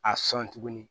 A sɔn tuguni